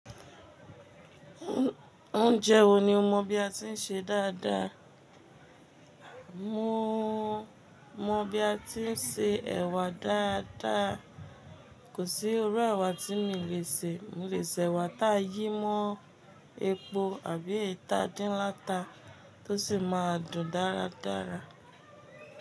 Oúnjẹ wo ni o mọ̀ bí a ti ń ṣe dáadáa? Mọ mọ̀ bí a ti ń se ẹ̀wà dáadáa. Kò sí irú ẹ̀wà tí mi lè sè. Mi lè sè ẹ̀wà taa yí mó epo àbí eyii ta dín látà to sì máa dùn dáradára.